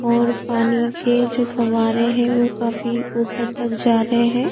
और पानी के जो फौहारे है वो काफी ऊपर तक जा रहे है।